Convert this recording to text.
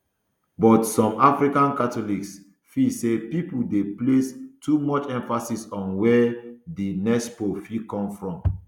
but some african catholics feel say pipo dey place too much emphasis on wia di next pope fit come from